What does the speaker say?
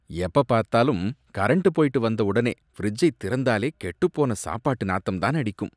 எப்ப பார்த்தாலும் கரண்ட் போயிட்டு வந்தவுடனே ஃபிரிட்ஜை திறந்தாலே கெட்டுப் போன சாப்பாடு நாத்தம்தான் அடிக்கும்